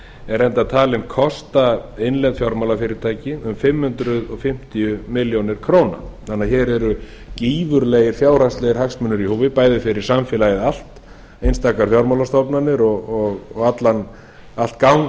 er reyndar talinn kosta innlend fjármálafyrirtæki um fimm hundruð fimmtíu milljónir króna þannig að hér eru gífurlegir fjárhagslegir hagsmunir í húfi bæði fyrir samfélagið allt einstakar fjármálastofnanir og allt gangvirkið